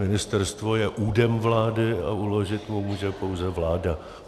Ministerstvo je údem vlády a uložit mu může pouze vláda.